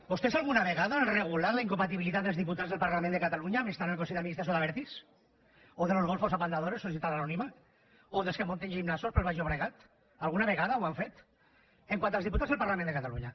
vostès alguna vegada han regulat la incompatibilitat dels diputats del parlament de catalunya amb estar al consell d’administració d’abertis o de los golfos apandadores societat anònima o dels que munten gimnasos pel baix llobregat alguna vegada ho han fet pel que fa als diputats al parlament de catalunya